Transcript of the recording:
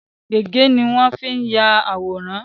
Gègé ni won n fii ya àwòrán